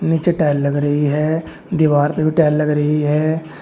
नीचे टाइल लग रही है दीवार पे भी टाइल लगा रही है।